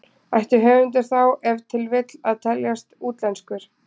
Ætti höfundur þá ef til vill að teljast útlenskur?